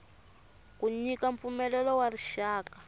ku nyika mpfumelelo wa rixaka